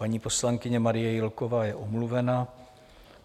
Paní poslankyně Marie Jílková je omluvena.